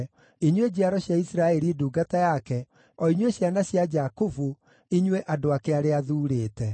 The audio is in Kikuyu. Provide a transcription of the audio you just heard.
inyuĩ njiaro cia Isiraeli ndungata yake, o inyuĩ ciana cia Jakubu, inyuĩ andũ ake arĩa athuurĩte.